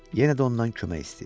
Yenə də ondan kömək istəyir.